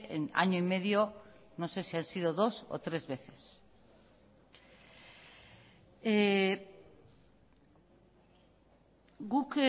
en año y medio no sé si han sido dos o tres veces guk